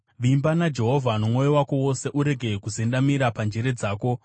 Vimba naJehovha nomwoyo wako wose urege kuzendamira panjere dzako;